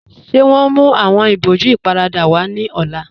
Ṣé wọn mú awọn ibòjú íparádà wa ni ọ̀lá?